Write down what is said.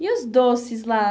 E os doces lá?